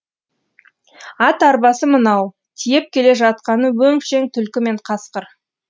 ат арбасы мынау тиеп келе жатқаны өңшең түлкі мен қасқыр